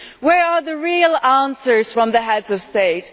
Where are the real answers from the Heads of State?